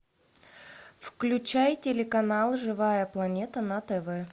включай телеканал живая планета на тв